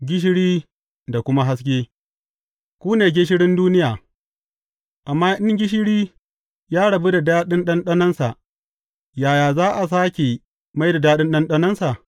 Gishiri da kuma haske Ku ne gishirin duniya, amma in gishiri ya rabu da daɗin ɗanɗanonsa, yaya za a sāke mai da daɗin ɗanɗanonsa?